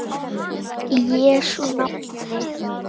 Í Jesú nafni.